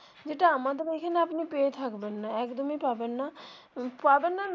যেটা আমাদের এখানে আপনি পেয়ে থাকবেন না একদমই পাবেন না পাবেন না.